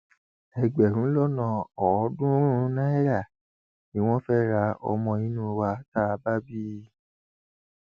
ẹgbẹrún lọnà ọọdúnrún náírà ni wọn fẹẹ ra ọmọ inú wa tá a bá bí i